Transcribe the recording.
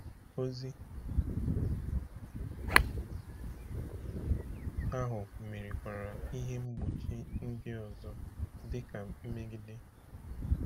Ozi ahụ merikwara ihe mgbochi ndị ọzọ, dị ka mmegide.